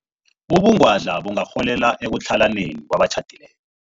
Ubungwadla bungarholela ekutlhalaneni kwabatjhadileko.